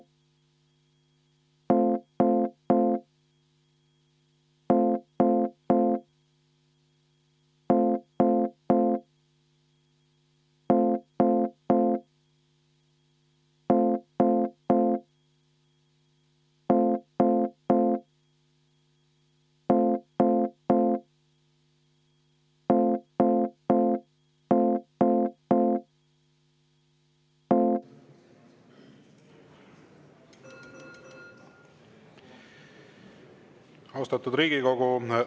Austatud Riigikogu!